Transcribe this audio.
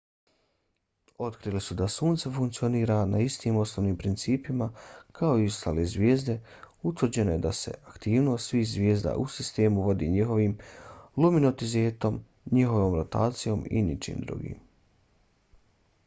otkrili su da sunce funkcionira na istim osnovnim principima kao i ostale zvijezde. utvrđeno je da se aktivnost svih zvijezda u sistemu vodi njihovim luminozitetom njihovom rotacijom i ničim drugim